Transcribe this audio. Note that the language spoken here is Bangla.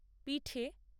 পিঠে